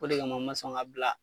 O de kama n ma sɔn ka bila .